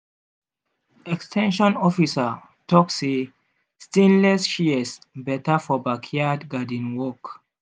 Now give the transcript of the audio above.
ex ten sion officer talk say stainless shears better for backyard garden work.